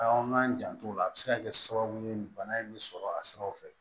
A k'an jant'ola a bɛ se ka kɛ sababu ye nin bana in bɛ sɔrɔ a siraw fɛ